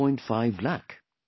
5 lakh